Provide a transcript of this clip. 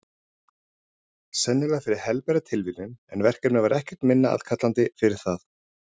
Sennilega fyrir helbera tilviljun, en verkefnið var ekkert minna aðkallandi fyrir það.